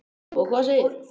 Og hvað segirðu?